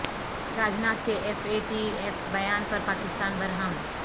راجناتھ کے F A T F بیان پرپاکستان برہم